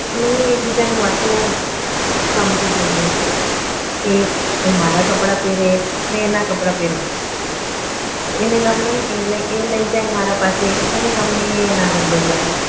અમે એકબીજાની વાતો સમજી જઈએ છે એ એ મારા કપડાં પહેરે મેં એના કપડાં પેરુ એને ગમે એ લઈ જાય મારા પાસે મને ગમે એ એના ઘરે લઈ જાય